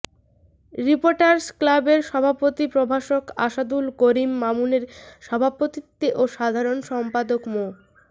reporters ক্লাবের সভাপতি প্রভাষক আসাদুল করিম মামুনের সভাপতিত্বে ও সাধারণ সম্পাদক মো